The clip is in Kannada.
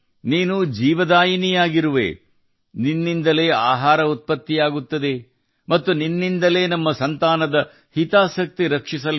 ನೀನು ಜೀವದಾತ ನಿನ್ನಿಂದ ಆಹಾರ ಉತ್ಪತ್ತಿಯಾಗುತ್ತದೆ ಮತ್ತು ನಿನ್ನಿಂದಲೇ ನಮ್ಮ ಮಕ್ಕಳ ಯೋಗಕ್ಷೇಮ